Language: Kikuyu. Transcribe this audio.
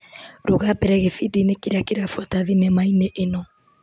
Rũga mbere gĩbindi-inĩ kĩrĩa kĩrabuata thinema-inĩ ĩno.